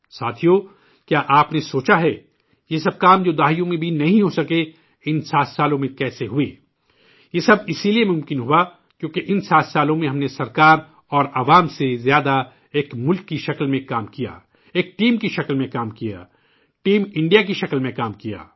ساتھیوں، کیا آپ نے سوچا ہے، یہ سب کام جو دہائیوں میں بھی نہیں ہو سکے، ان 7 سالوں میں کیسے ہوئے ؟ یہ سب اسی لئے ممکن ہوا کیونکہ ان 7 سالوں میں ہم نے حکومت اور عوام سے زیادہ ایک ملک کے طور پر کام کیا، ایک ٹیم کی شکل میں کام کیا،'ٹیم انڈیا' کی شکل میں کام کیا